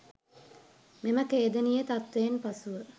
මෙම ඛේදනීය තත්ත්වයෙන් පසුව